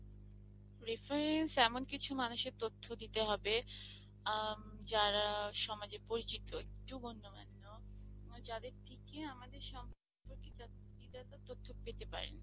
reference এমন কিছু মানুষ এর তথ্য দিতে হবে অ্যাঁ যারা সমাজে পরিচিত একটু তথ্য পেতে পারি